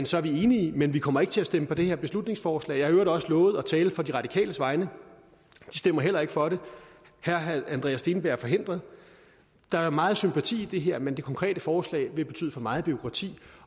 så er vi enige men vi kommer ikke til at stemme for det her beslutningsforslag jeg har i øvrigt også lovet at tale på de radikales vegne de stemmer heller ikke for det herre andreas steenberg er forhindret der er meget sympati for det her men det konkrete forslag vil betyde for meget bureaukrati